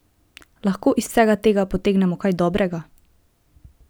Lahko iz vsega tega potegnemo kaj dobrega?